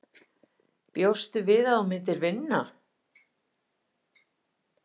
Erla Hlynsdóttir: Bjóstu við að þú myndir vinna?